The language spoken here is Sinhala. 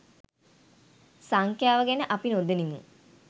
සංඛ්‍යාව ගැන අපි නොදනිමු